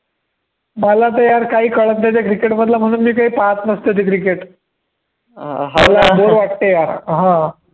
मला तर यार काही कळतं नाही त्या cricket मधलं म्हणून मी काही पाहत नसतो ते cricket अं हा ना, मला bore वाटतं यार